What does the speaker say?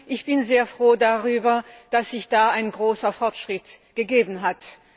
Ich bin sehr froh darüber, dass es da einen großen Fortschritt gegeben hat.